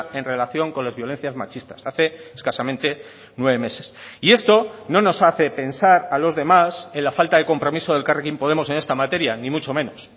en relación con las violencias machistas hace escasamente nueve meses y esto no nos hace pensar a los demás en la falta de compromiso de elkarrekin podemos en esta materia ni mucho menos